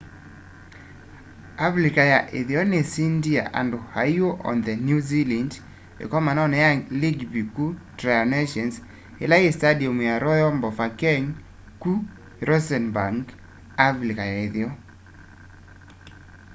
avilika ya itheo nisindie andu aiu on the new zealand ikomanoni ya langibi ku tri nations ila yi standium ya royal bafokeng ku rustenburg avilika ya itheo